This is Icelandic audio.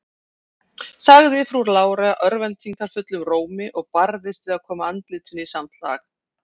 sagði frú Lára örvæntingarfullum rómi, og barðist við að koma andlitinu í samt lag.